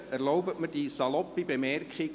Erlauben Sie mir die saloppe Bemerkung: